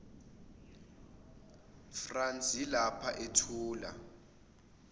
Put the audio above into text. france yilapha ethula